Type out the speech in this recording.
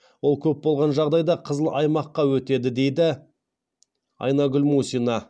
ол көп болған жағдайда қызыл аймаққа өтеді дейді айнагүл мусина